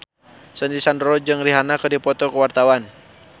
Sandy Sandoro jeung Rihanna keur dipoto ku wartawan